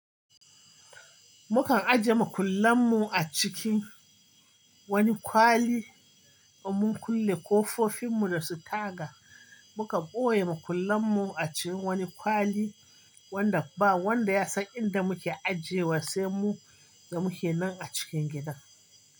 Mukan ajiye makullan mu a cikin wani kwali da mun kulle kofofin mu da su taga. Muka ɓoye makullan mu a cikin wani kwali. Wanda ba wanda ya san inda muke ajiye wa sai mu da muke nan a cikin gidan.